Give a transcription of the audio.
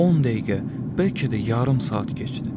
On dəqiqə, bəlkə də yarım saat keçdi.